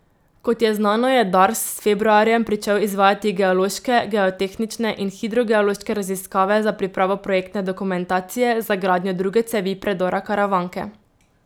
Kot je znano, je Dars s februarjem pričel izvajati geološke, geotehnične in hidrogeološke raziskave za pripravo projektne dokumentacije za gradnjo druge cevi predora Karavanke.